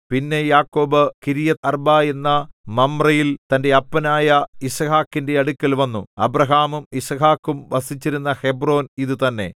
പിന്നെ യാക്കോബ് കിര്യത്ത്അർബ എന്ന മമ്രേയിൽ തന്റെ അപ്പനായ യിസ്ഹാക്കിന്റെ അടുക്കൽ വന്നു അബ്രാഹാമും യിസ്ഹാക്കും വസിച്ചിരുന്ന ഹെബ്രോൻ ഇതുതന്നെ